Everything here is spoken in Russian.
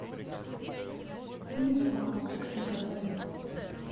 фильм законопослушный гражданин